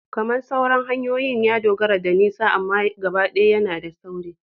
Kamar sauran hanyoyin, ya dogara da nisa amma gabaɗaya yana da sauri